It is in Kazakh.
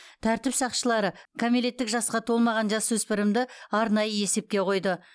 тәртіп сақшылары кәмелеттік жасқа толмаған жасөспірімді арнайы есепке қойды